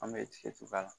An bɛ tigɛtuba